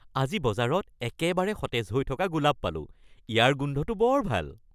আজি বজাৰত একেবাৰে সতেজ হৈ থকা গোলাপ পালোঁ। ইয়াৰ গোন্ধটো বৰ ভাল।